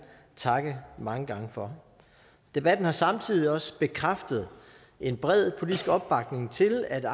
takke mange gange for debatten har samtidig også bekræftet en bred politisk opbakning til at